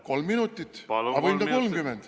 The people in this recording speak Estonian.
Kolm minutit, aga võib ka 30.